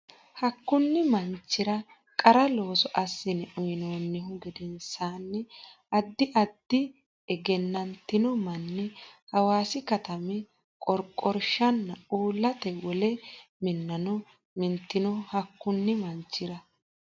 Hakkunni manchira qara looso assine uynoonnihu gedensaanni addi addi egennantino manni Hawaasi katami qorqorshanna uullate wole minnano mintino Hakkunni manchira.